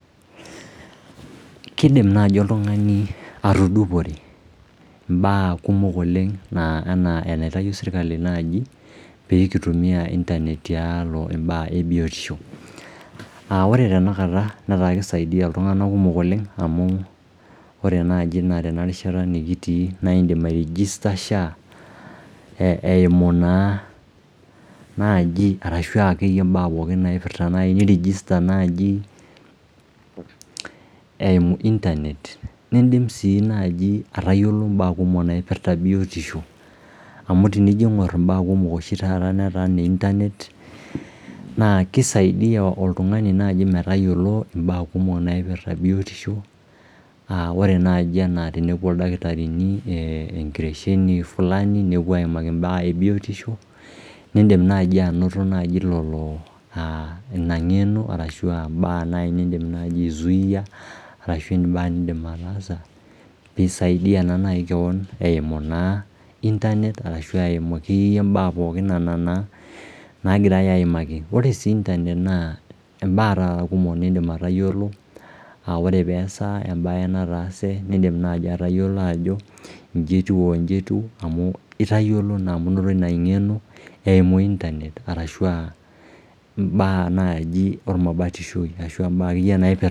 Kiidim naai oltung'ani atudupore mbaak kumok oleng enaa enaitayio serikali naaji peekintumia internet tialo imbaak e biotishu. Ore tenakata netaa kisaidia iltung'anak kumok oleng amu ore naaji naa tenarishata nekitii naa indim airigista SHA eumu naa naaji arashuu akeyie imbaak pookin naipirta naai nirigista naaji eumu internet niindim sii naaji atayiolo mbaak kumok naipirta biotishu. Amu tenijo aang'urr imbaak kumok oshi taata netaa ine internet naa keisaidia oltung'ani naaji metayiolo imbaak kumok naipirta biotishu. Ore naaji enaa enepwo ildakitarini enkitesheni fulani nepwo aimaki imbaak e biotishu niindim naaji anoto naaji ina ng'eno arashu imbaak niindim naaji ai zuia arashu imbaak niindim ataasa piisaidia naa naai keon eimu naa internet ashu eumu imbaak pookin nena naa nagirai aimaki. Ore sii internet imbaak taata kumok niindim atayiolo aa ore peesa embae nataase niindim naaji atayiolo ajo inji etiu wo inji etiu, itayiolo naa amu inoto ina ng'eno eumu internet arashu aa imbaak naaji ormabatishoi ashu imbaak akeyie naipirta